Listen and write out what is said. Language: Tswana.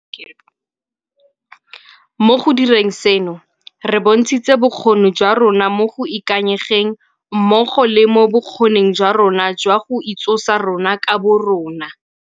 Mo go direng seno, re bontshitse bokgoni jwa rona mo go ikanyegeng mmogo le mo bokgoning jwa rona jwa go itsosa rona ka borona.